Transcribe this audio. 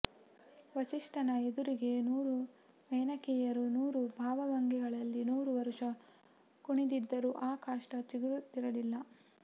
ವಸಿಷ್ಠನ ಎದುರಿಗೆ ನೂರು ಮೇನಕೆಯರು ನೂರು ಭಾವಭಂಗಿಗಳಲ್ಲಿ ನೂರು ವರುಷ ಕುಣಿದಿದ್ದರೂ ಆ ಕಾಷ್ಠ ಚಿಗುರುತ್ತಿರಲಿಲ್ಲ